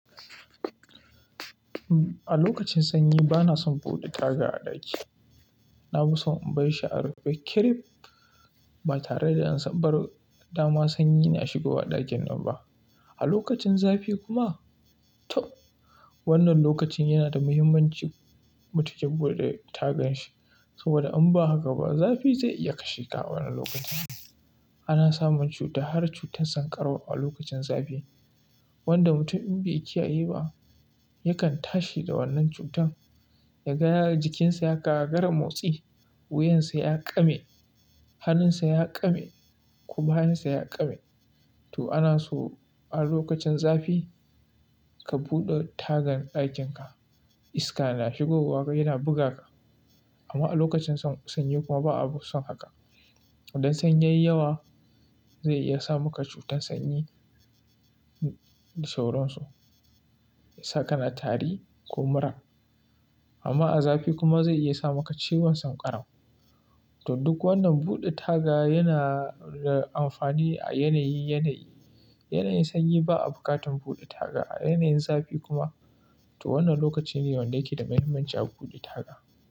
A lokacin sanyi bana son buɗe taga a ɗaki. Na fi son in bar shi a rufe. Kirif ba tare da an sa bar dama sanyi na shigowa ɗakin nan ba. A lokacin zafi kuma, to wannan lokacin yana da muhimmanci mutum ke buɗe tagan shi. Saboda in ba haka ba zafi zai iya kashe ka a wannan lokacin. Ana samun cuta har cutar sanƙarau a lokacin zafi. Wanda mutum in bai kiyaye ba yakan tashi da wannan cutan. Ya ga jikinsa ya gagari motsi, wuyansa ya ƙame, hannunsa ya ƙame ko bayansa ya ƙame. To ana so a lokacin zafi ka buɗe tagan ɗakin ka. Iska na shigowa yana buga ka. Amma a lokacin sanyi kuma ba'a son haka. Idan sanyi yayi yawa zai iya sa maka cutar sanyi da sauransu. Saka na tari ko mura. Amma a zafi kuma zai iya sa maka ciwon sankarau. To duk wannan buɗe taga yana da amfani a yanayi, yanayi. Yanayin sanyi ba'a buƙatar buɗe taga. A yanayin zafi kuma to wannan lokaci ne wanda yake da muhimmanci a buɗe taga.